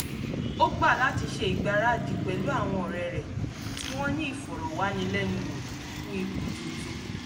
ó gbà láti ṣe ìgbaradì pẹ̀lú àwọn ọ̀rẹ́ rẹ̀ tí wọ́n ní ìfọ̀rọ̀wánilẹ́nuwò fún ipò tuntun